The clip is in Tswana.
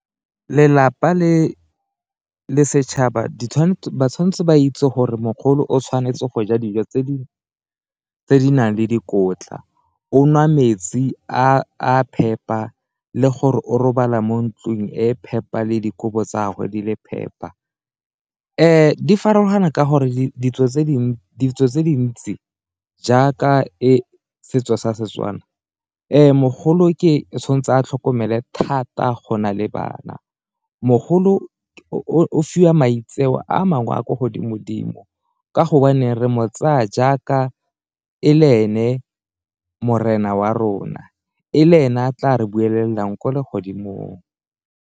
Lelapa le setšhaba di tshwanetse ba itse gore mogolo o tshwanetse go ja dijo tse di nang le dikotla, o nwa metsi a phepa le gore o robala mo ntlung e phepa le dikobo tsa gagwe di le phepa. Di farologana ka gore ditso tse dintsi jaaka e setso sa Setswana mogolo tshwan'tse a tlhokomele thata go na le bana, mogolo o fiwa maitseo a mangwe a kwa godimo-dimo ka gobaneng re mo tsaya jaaka e le ene morena wa rona e le ene a tla re bulelang ko legodimo.